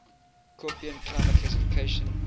koppen climate classification